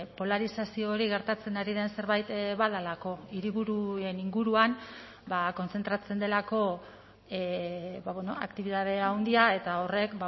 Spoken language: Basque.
polarizazio hori gertatzen ari den zerbait badelako hiriburuen inguruan kontzentratzen delako aktibitate handia eta horrek